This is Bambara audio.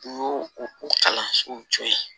U y'o o kalansow jɔ